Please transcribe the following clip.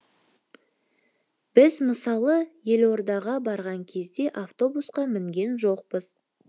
біз мысалы елордаға барған кезде автобусқа мінген жоқпыз